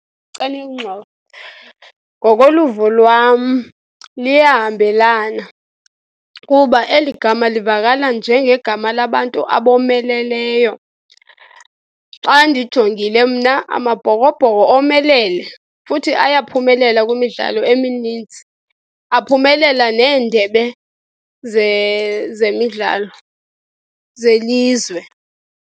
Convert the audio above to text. . Ngokoluvo lwam, liyahambelana kuba eli gama livakala njengegama labantu abomeleleyo. Xa ndijongile mna Amabhokobhoko omelele, futhi ayaphumelela kwimidlalo emininzi, aphumelela neendebe zemidlalo zelizwe.